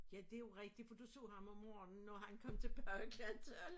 Ja det jo rigtig for du så ham om morgenen og han kom tilbage klokken 12